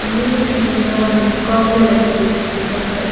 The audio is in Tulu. ಉಂದೆನ್ ತೂನಗ ಮೆಸ್ಕಾಂ ದ ಲೆಕ ತೋಜುಂಡ್ ಬಟ್ --